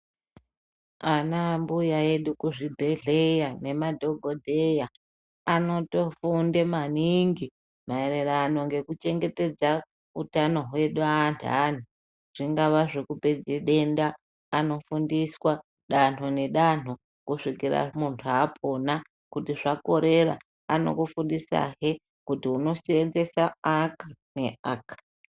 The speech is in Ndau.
Anaambuya edu kuzvibhedhleya nemadhokodheya, anotofunde maningi maererano ngekuchengetedza utano hwedu anthani. Zvingava zvekupedze denda anofundiswa danho nedanho kusvikira muntu apona. Kuti zvakorera anokufundisahe kuti unoseenzesa aka neaka.